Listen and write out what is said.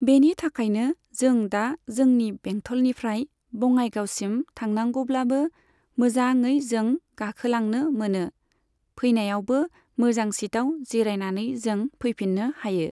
बेनि थाखायनो जों दा जोंनि बेंथलनिफ्राय बङाइगावसिम थांनांगौब्लाबो मोजाङै जों गाखोलांनो मोनो। फैनायावबो मोजां सिटआव जिरायनानै जों फैफिननो हायो।